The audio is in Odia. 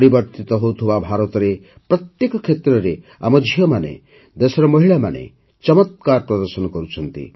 ପରିବର୍ତ୍ତିତ ହେଉଥିବା ଭାରତରେ ପ୍ରତ୍ୟେକ କ୍ଷେତ୍ରରେ ଆମ ଝିଅମାନେ ଦେଶର ମହିଳାମାନେ ଚମତ୍କାର ପ୍ରଦର୍ଶନ କରୁଛନ୍ତି